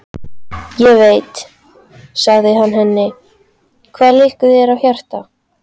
Ég veit, sagði hann henni, hvað þér liggur á hjarta